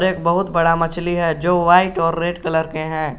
एक बहुत बड़ा मछली है जो व्हाइट और रेड कलर के हैं।